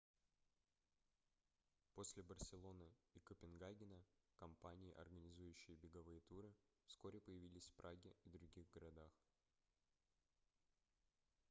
после барселоны и копенгагена компании организующие беговые туры вскоре появились в праге и других городах